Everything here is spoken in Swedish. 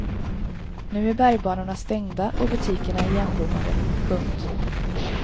Nu är bergbanorna stängda och butikerna igenbommade. punkt